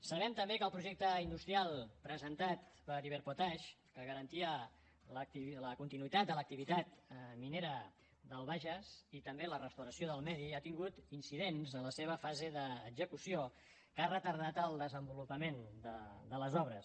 sabem també que el projecte industrial presentat per iberpotash que garantia la continuïtat de l’activitat minera del bages i també la restauració del medi ha tingut incidents en la seva fase d’execució que han retardat el desenvolupament de les obres